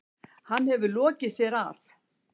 Hann hefur lokið sér af.